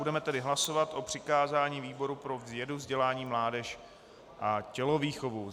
Budeme tedy hlasovat o přikázání výboru pro vědu, vzdělání, mládež a tělovýchovu.